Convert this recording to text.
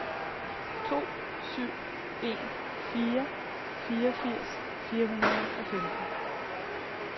to syv en fire fireogfirs fire hundrede og femten